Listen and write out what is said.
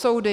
Soudy.